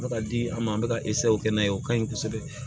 Ka di an ma an bɛ ka kɛ n'a ye o ka ɲi kosɛbɛ